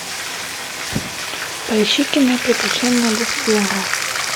поищи кино приключения десперо